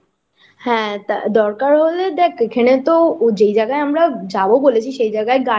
হ্যাঁ আ দরকার হলে দেখ এখানে তো যেই জায়গায় আমরা যাবো বলেছি সেই জায়গায়